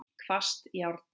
Hvasst járn.